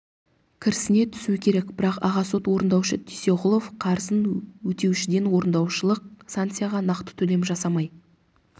кірісіне түсу керек бірақ аға сот орындаушы дүйсеғұлов қарызын өтеушіден орындаушылық санкцияға нақты төлем жасамай